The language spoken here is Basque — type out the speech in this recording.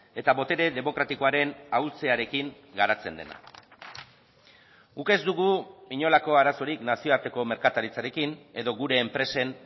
eta botere demokratikoaren ahultzearekin garatzen dena guk ez dugu inolako arazorik nazioarteko merkataritzarekin edo gure enpresen